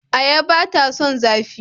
Ayaba ba ta son zafi.